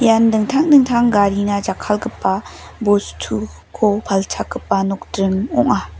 ian dingtang dingtang garina jakkalgipa bostuko palchakgipa nokdring ong·a.